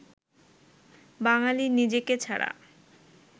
বাঙালি নিজেকে ছাড়া